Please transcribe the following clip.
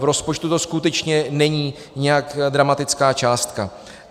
V rozpočtu to skutečně není nějak dramatická částka.